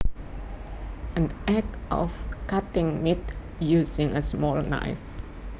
An act of cutting meat using a small knife